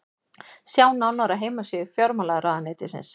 sjá nánar á heimasíðu fjármálaráðuneytisins